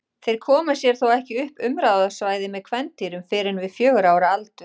Þeir koma sér þó ekki upp umráðasvæði með kvendýrum fyrr en við fjögurra ára aldur.